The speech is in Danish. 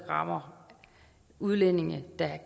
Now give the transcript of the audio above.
andre eu lande der er